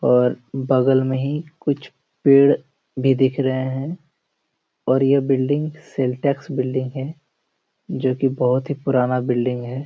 और बगल में ही कुछ पेड़ भी देख रहे है और यह बिल्डिंग सेल टैक्स बिल्डिंग है जो की बहुत पुराना बिल्डिंग हैं।